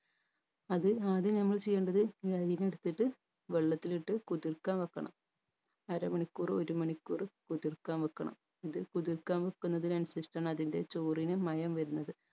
അത് ആദ്യം നമ്മൾ ചെയ്യേണ്ടത് ഈ അരീന എടുത്തിട്ട് വെള്ളത്തിലിട്ട് കുതിർക്കാൻ വെക്കണം അരമണിക്കൂറ്‍ ഒരു മണിക്കൂറ് കുതിർക്കാൻ വെക്കണം ഇത് കുതിർക്കാൻ വെക്കുന്നതിന് അനുസരിച്ചാണ് അതിൻറെ ചോറിന് മയം വരുന്നത്